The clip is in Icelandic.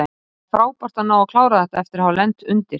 Það er frábært að ná að klára þetta eftir að hafa lent undir.